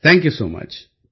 thank you so much